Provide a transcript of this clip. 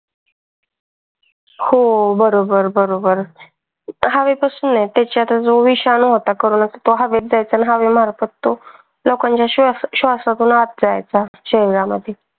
हो बरोबर बरोबर. जो विषाणू होता करोना आणि हवेमार्फत तो लोकांच्या श्वासातून आत जायचा शरीरात.